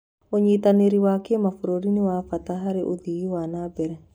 ũnyitanĩri wa kĩmabũrũri nĩ wa bata harĩ ũthii wa na mbere.